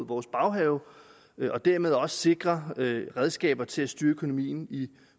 vores baghave og dermed også sikrer redskaber til at styre økonomien i